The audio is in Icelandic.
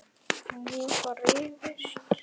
Og nú var rifist.